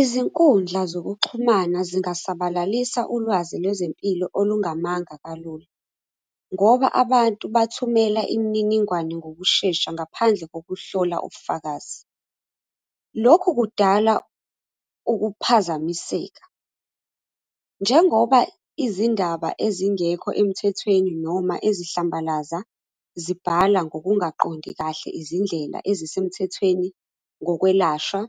Izinkundla zokuxhumana zingasabalalisa ulwazi lwezempilo olungamanga kalula, ngoba abantu bathumela imininingwane ngokushesha ngaphandle kokuhlola ubufakazi. Lokhu kudala ukuphazamiseka. Njengoba izindaba ezingekho emthethweni noma ezihlambalaza, zibhala ngokungaqondi kahle izindlela ezisemthethweni ngokwelashwa,